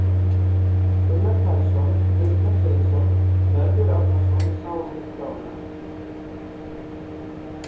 Gunnar Karlsson, Kristján Sveinsson, Mörður Árnason sáu um útgáfuna.